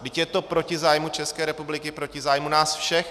Vždyť je to proti zájmu České republiky, proti zájmu nás všech.